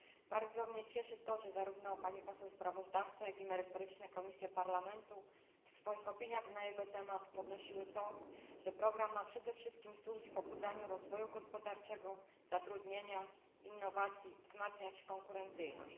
Bardzo mnie cieszy to, że zarówno pani sprawozdawczyni, jak i merytoryczne komisje Parlamentu w swoich opiniach na jego temat podnosiły to, że program ma przede wszystkim służyć pobudzaniu rozwoju gospodarczego, zatrudnienia, innowacji, ma wzmacniać konkurencyjność.